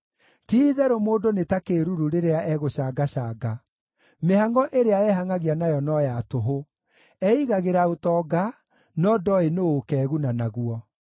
Ti-itherũ mũndũ nĩ ta kĩĩruru rĩrĩa egũcangacanga: Mĩhangʼo ĩrĩa ehangʼagia nayo no ya tũhũ; eigagĩra ũtonga, no ndooĩ nũũ ũkeeguna naguo.